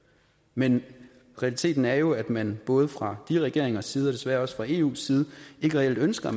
men realiteten er jo at man både fra de regeringers side og desværre også fra eus side ikke reelt ønsker